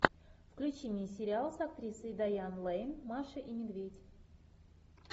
включи мне сериал с актрисой дайан лэйн маша и медведь